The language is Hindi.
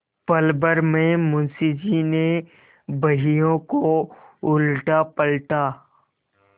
पलभर में मुंशी जी ने बहियों को उलटापलटा